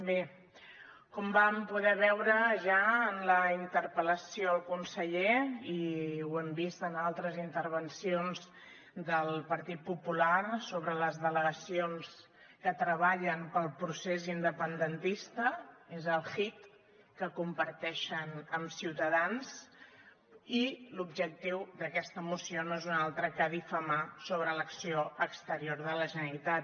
bé com vam poder veure ja en la interpel·lació al conseller i ho hem vist en altres intervencions del partit popular sobre les delegacions que treballen pel procés independentista és el hit que comparteixen amb ciutadans i l’objectiu d’aquesta moció no és un altre que difamar sobre l’acció exterior de la generalitat